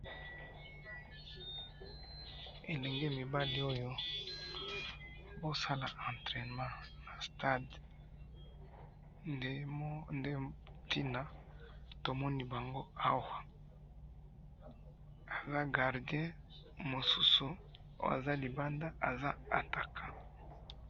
elenge mibali oyo, bazo sala entrainement na stade, nde tina tomoni bango awa, aza gardien, mosusu aza libanda aza attaquant